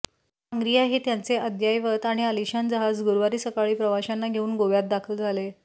आंग्रिया हे त्यांचे अद्ययावत आणि अलिशान जहाज गुरूवारी सकाळी प्रवाशांना घेऊन गोव्यात दाखल झाले